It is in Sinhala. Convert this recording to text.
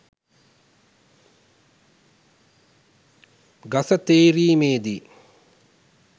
ගස තේරීමෙදී